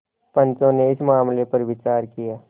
पंचो ने इस मामले पर विचार किया